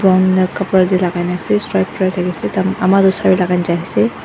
khapra teh lagaigena ase strip thakiase ama tu saree lagaigena jaiase.